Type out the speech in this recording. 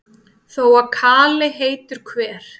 Þó að kali heitur hver,